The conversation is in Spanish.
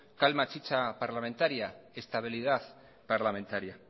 calmar chicha parlamentaria estabilidad parlamentaria